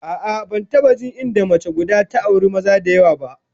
A'a, ban taba jin inda mace guda ta auri maza da yawa ba